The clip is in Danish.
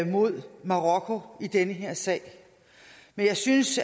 mod marokko i den her sag men jeg synes